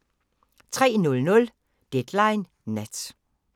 03:00: Deadline Nat